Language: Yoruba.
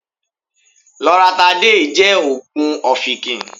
Lọratidéìì jẹ́ òògùn ọfìnkìn.